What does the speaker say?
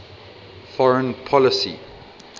foreign policy